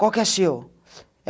Qual que é seu?